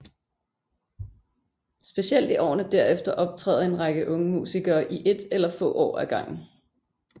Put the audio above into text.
Specielt i årene derefter optræder en række unge musikere i ét eller få år ad gangen